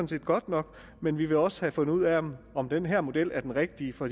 det godt nok men vi vil også have fundet ud af om den her model er den rigtige for